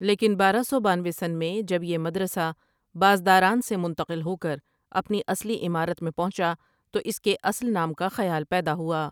لیکن بارہ سو بانوے ؁ میں جب یہ مدرسہ بازداران سے منتقل ہوکر اپنی اصلی عمارت میں پہنچا تو اس کے اصل نام کا خیال پیدا ہوا ۔